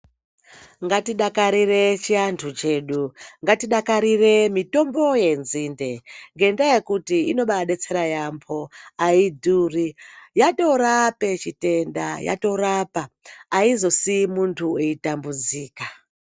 Ngatidakarire chianthu chedu, ngatidakarire mitombo yenzinde ngendaa yekuti ino baa detsera yaambho audhuri yatirape chitenda yatorapa aizosii munthu echitambudzika.